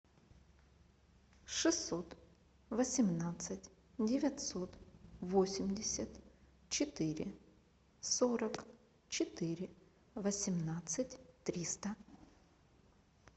шестьсот восемнадцать девятьсот восемьдесят четыре сорок четыре восемнадцать триста